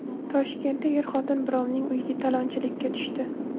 Toshkentda er-xotin birovning uyiga talonchilikka tushdi.